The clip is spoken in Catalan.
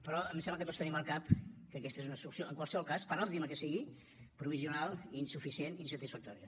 però em sembla que tots tenim al cap que aquesta és una solució en qualsevol cas per òptima que sigui provisional i insuficient insatisfactòria